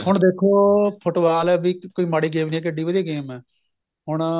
ਹੁਣ ਦੇਖੋ football ਬੀ ਕੋਈ ਮਾੜੀ game ਨੀ ਏ ਕਿੱਡੀ ਵਧੀਆ game ਏ ਹੁਣ